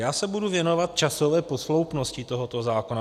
Já se budu věnovat časové posloupnosti tohoto zákona.